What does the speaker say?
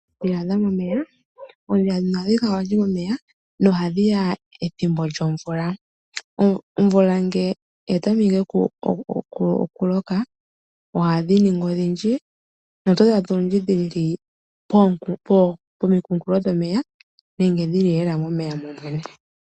Oondhila dhomomeya, oondhila dhono ohadhi kala olundji momeya na ohadhiya ethimbo lyomvula. Omvula ngele yatameke okuloka ohadhi ningi odhindji na otodhi adha olundji dhili pomikunkulo dhomeya nenge dhili lela momeya momwene.